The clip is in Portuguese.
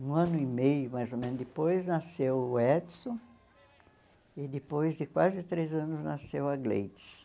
Um ano e meio, mais ou menos depois, nasceu o Edson e depois de quase três anos nasceu a Gleides.